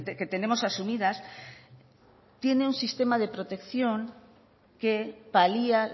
que tenemos asumidas tiene un sistema de protección que palia